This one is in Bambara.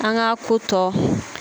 An ka ko tɔ